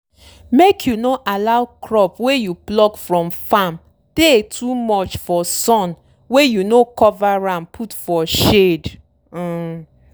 make you no allow crop wey you pluck from farm tey too much for sun wey you no cover am put for shade. um